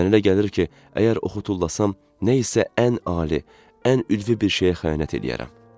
Mənə elə gəlir ki, əgər oxu tullasam, nə isə ən ali, ən ülvi bir şeyə xəyanət eləyərəm.